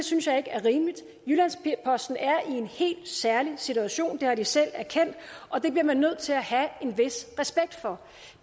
synes jeg ikke er rimeligt jyllands posten er i en helt særlig situation det har de selv erkendt og det bliver man nødt til at have en vis respekt for